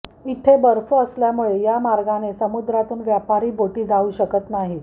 इथे बर्फ असल्यामुळे या मार्गाने समुद्रातून व्यापारी बोटी जाऊ शकत नाहीत